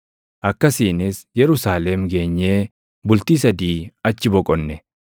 Akkasiinis Yerusaalem geenyee bultii sadii achi boqonne.